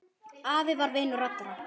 Afi var vinur allra.